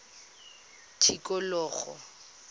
tikologo